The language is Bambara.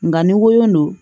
Nka ni n ko don